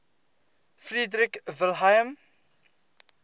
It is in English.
frederick william